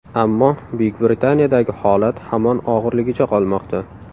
Ammo Buyuk Britaniyadagi holat hamon og‘irligicha qolmoqda.